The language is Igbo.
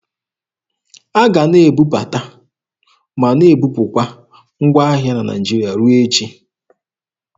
A ga a na-ebubata ma na-ebupụkwa ngwa ahịa na Naịjirịa ruo echi.